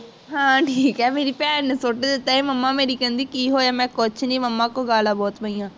ਹਾਂ ਹੁਣ ਠੀਕ ਹੈ ਮੇਰੀ ਭੈਣ ਨੂੰ ਸੁੱਟ ਦਿੱਤਾ ਸੀ ਮੇਰੀ mama ਕਹਿੰਦੀ ਕਿ ਹੋਇਆ ਮੈਂ ਕਿਹਾ ਕੁਛ ਨੀ momma ਕੋਲੋਂ ਗਾਲ੍ਹਾਂ ਬਹੁਤ ਪਈਆਂ